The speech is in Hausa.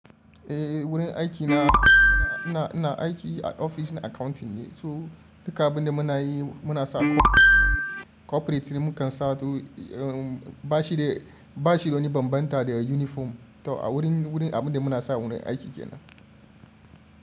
Eh, wurin aiki na, ina aiki a ofis na accounting ne, so duka abin da muna yi muna sa corporate mukan sa ba shi bane bambanta da uniform. To a wurin abin da muna sa wurin aiki kenan.